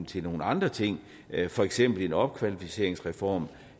til nogle andre ting for eksempel en opkvalificeringsreform